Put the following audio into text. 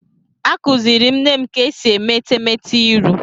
Akuziri m nne m ka esi eme etemete iru.